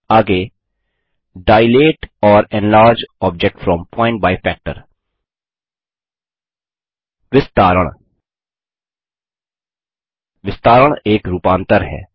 आगे दिलते ओर enlarge object from point by factor विस्तारण विस्तारण एक रूपांतर है